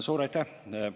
Suur aitäh!